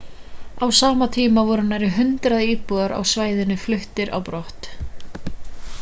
á sama tíma voru nærri 100 íbúar á svæðinu fluttir á brott